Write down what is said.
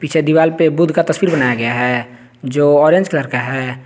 पीछे दीवाल पे बुद्ध का तस्वीर बनाया गया है जो ऑरेंज कलर का है।